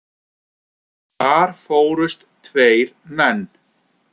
Þar fórust tveir menn.